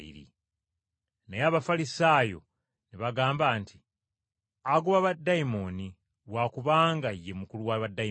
Naye Abafalisaayo ne bagamba nti, “Agoba baddayimooni lwa kubanga ye mukulu wa baddayimooni!”